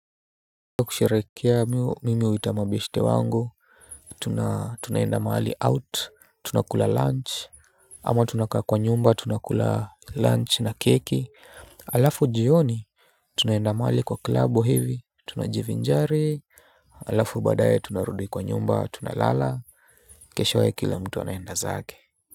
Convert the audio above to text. Kwa kusherekea mimi huita mabeshte wangu. Tunaenda mahali out tunakula lunch ama tunakaa kwa nyumba tunakula lunch na keki alafu jioni tunaenda mahali kwa club hivi tunajivinjari alafu baadaye tunarudi kwa nyumba tunalala. Keshowe kila mtu anaenda zake.